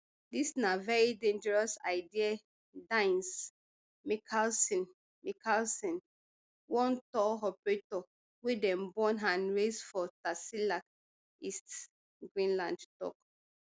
dis na very dangerous idea dines mikaelsen mikaelsen one tour operator wey dem born and raise for tasiilaq east greenland tok